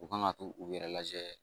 U kan ka t'u yɛrɛ lajɛ